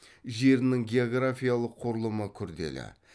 жерінің географиялық құрылымы күрделі